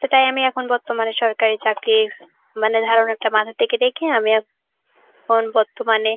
তো তাই আমি এখন বর্তমানে সরকারি চাকরির মানে ধারণা একটা মাথা থেকে রেখে আমি এখন বর্তমানে